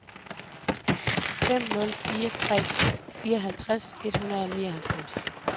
fem nul fire tre fireoghalvtreds et hundrede og nioghalvfems